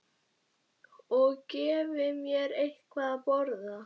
Og gefi mér eitthvað að borða.